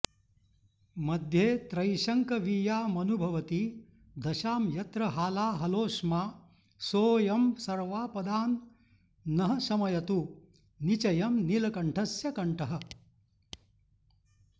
मध्ये त्रैशङ्कवीयामनुभवति दशां यत्र हालाहलोष्मा सोऽयं सर्वापदां नः शमयतु निचयं नीलकण्ठस्य कण्ठः